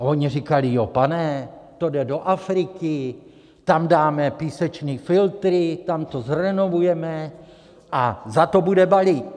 A oni říkali: Jo, pane, to jde do Afriky, tam dáme písečný filtry, tam to zrenovujeme a za to bude balík!